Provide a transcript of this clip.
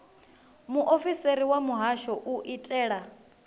muofisiri wa muhasho u itela